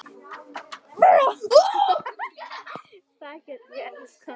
Þar get ég elskað alla.